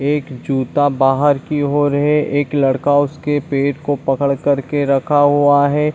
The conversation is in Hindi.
एक जूता बाहर की ओर है एक लड़का उसके पेट को पकड़ कर के रखा हुआ है।